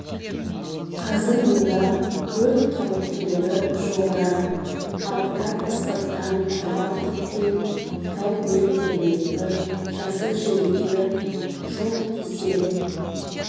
қазір мұнда өрт қауіптілігі жоғары аптап ыстықтан құрғап кеткен тау бөктеріндегі жасыл желектер шоқ тисе